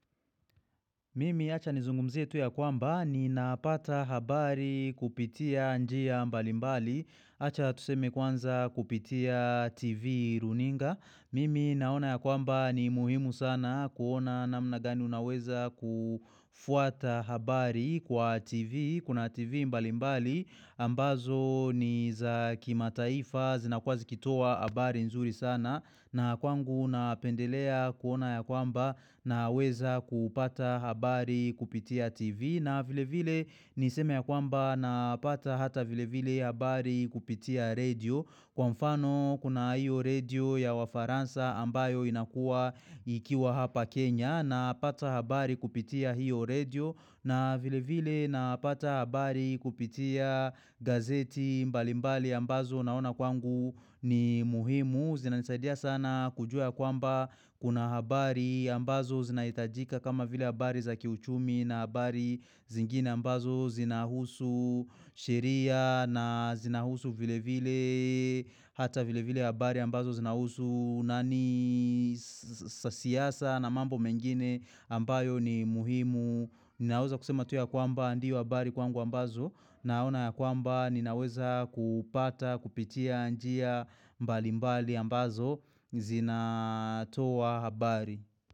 Mimi achani nizungumzie tu ya kwamba ninapata habari kupitia njia mbalimbali. Acha tuseme kwanza kupitia TV, runinga. Mimi naona ya kwamba ni muhimu sana kuona namna gani unaweza kufuata habari kwa TV, kuna TV mbalimbali. Ambazo ni za kimataifa zinakuwa zikitoa habari nzuri sana na kwangu napendelea kuona ya kwamba naweza kupata habari kupitia TV na vile vile ni seme ya kwamba na pata hata vile vile habari kupitia radio. Kwa mfano kuna hiyo radio ya wafaransa ambayo inakua ikiwa hapa Kenya na pata habari kupitia hiyo radio na vile vile napata habari kupitia gazeti mbali mbali ambazo naona kwangu ni muhimu. Zinanisaidia sana kujua kwamba kuna habari ambazo zinahitajika kama vile habari za kiuchumi na habari zingine ambazo zinahusu sheria na zinahusu vile vile hata vile vile habari ambazo zinahusu za siasa na mambo mengine ambayo ni muhimu. Ninaweza kusema tu ya kwamba hayo ndio habari kwangu ambazo naona ya kwamba ninaweza kupata kupitia njia mbali mbali ambazo zinatoa habari.